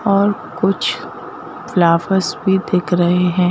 और कुछ फ्लावरस भी दिख रहे हैं।